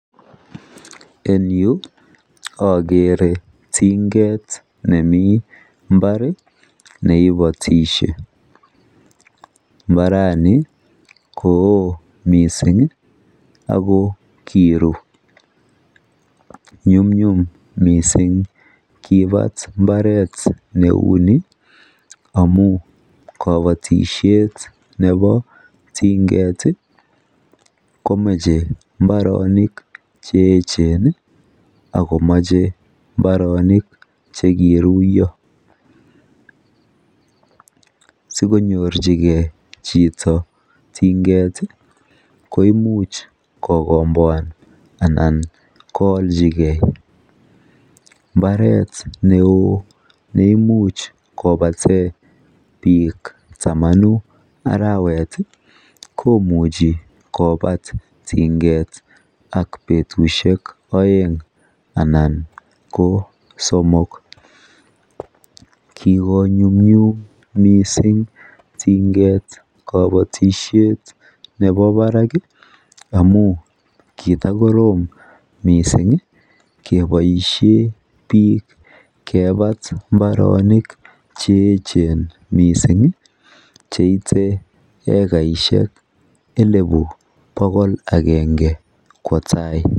En yuu akeree tinget nemii mbarr neei otishee mbaranii kooo mising akoo kiruu nyumnyum mising kipat mbarr neunii amuu kapotishet neboo tinget Ii komechee mbaronii cheej ako chee kiruiyoo